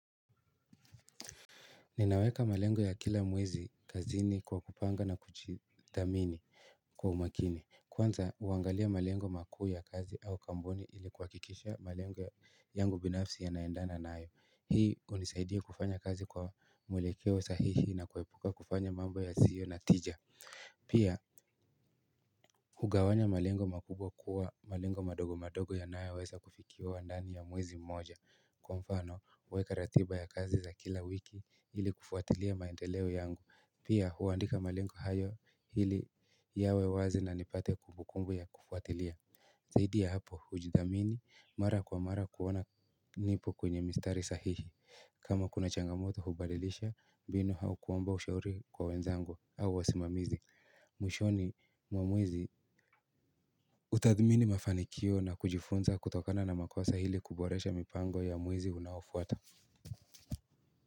Ninaweka malengo ya kila mwezi kazini kwa kupanga na kujidhamini kwa umakini kwanza huangalia malengo makuu ya kazi au kampuni ili kuhakikisha malengo yangu binafsi yanaendana nayo hii hunisaidie kufanya kazi kwa mwelekeo sahihi na kuepuka kufanya mambo yasio na tija pia hugawanya malengo makubwa kuwa malengo madogo madogo yanayoweza kufikiwa ndani ya mwezi mmoja. Kwa mfano weka ratiba ya kazi za kila wiki ili kufuatilia maendeleo yangu pia huandika malengo hayo ili yawe wazi na nipate kumbukumbu ya kufuatilia zaidi ya hapo hujidhamini mara kwa mara kuona nipo kwenye mistari sahihi kama kuna changamoto hubadilisha mbinu au kuomba ushauri kwa wenzangu au wasimamizi. Mwishoni mwa mwezi utathmini mafanikio na kujifunza kutokana na makosa hili kuboresha mipango ya mwezi unaofuata.